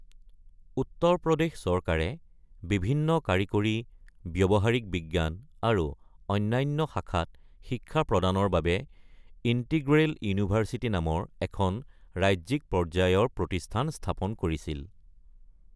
উত্তৰ প্ৰদেশ চৰকাৰে বিভিন্ন কাৰিকৰী, ব্যৱহাৰিক বিজ্ঞান, আৰু অন্যান্য শাখাত শিক্ষা প্ৰদানৰ বাবে ইন্টিগ্ৰেল ইউনিভাৰ্চিটি নামৰ এখন ৰাজ্যিক পৰ্যায়ৰ প্ৰতিষ্ঠান স্থাপন কৰিছিল।